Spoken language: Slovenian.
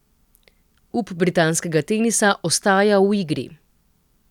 Up britanskega tenisa ostaja v igri.